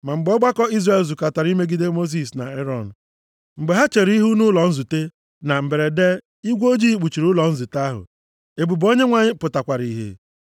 Ma mgbe ọgbakọ Izrel zukọtara imegide Mosis na Erọn, mgbe ha chere ihu nʼụlọ nzute, na mberede, igwe ojii kpuchiri ụlọ nzute ahụ, ebube Onyenwe anyị pụtakwara ihe.